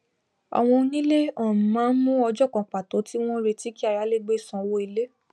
àwọn onílé um máá mú ọjó kan pàtó tí wón retí kí ayálégbé san owò ilé